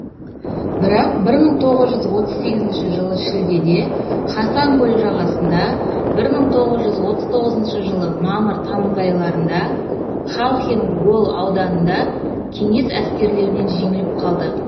бірақ бір мың тоғыз жүз отыз сегізінші жылы шілдеде хасан көлі жағасында бір мың тоғыз жүз отыз тоғызыншы жылы мамыр тамыз айларында халхин гол ауданында кеңес әскерлерінен жеңіліп қалды